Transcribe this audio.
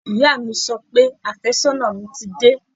Ìyá mi sọ pé àfẹ́sọ́nà mi ti dé